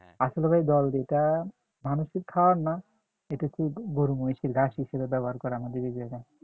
আসলে ভাই ধল যেটা মানুষের খাওয়ার না এটা হচ্ছে গরু-মহিষের ঘাস হিসেবে ব্যবহার করে আমাদের এই জায়গায়